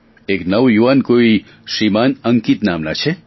એક નવયુવાન કોઈ શ્રીમાન અંકિત નામના છે